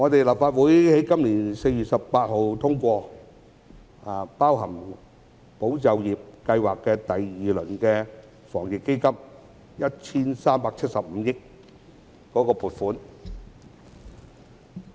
立法會在今年4月18日通過包含"保就業"計劃的第二輪防疫抗疫基金，涉及 1,375 億元的撥款。